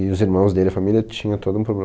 E os irmãos dele, a família, tinha todo um problema.